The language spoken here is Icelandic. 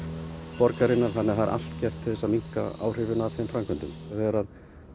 borgarinnar þannig að það það er allt gert til þess að minnka áhrifin af þeim framkvæmdum þegar